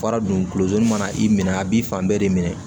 Fara dunzi mana i minɛ a b'i fan bɛɛ de minɛ